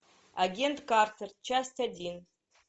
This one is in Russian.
агент картер часть один